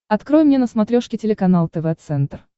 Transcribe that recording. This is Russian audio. открой мне на смотрешке телеканал тв центр